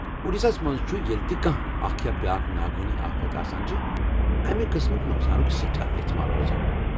اوڈیشہ ہس منٛز چُھ، ییلہ تہِ کانٛہہ اكھ یا بیٚاكھ ناگہٲنی آفت آسان چھےٚ ،امہِ قٕسمٕكہِ نۄقسانُك سیٹھاہ احتمال روزان ۔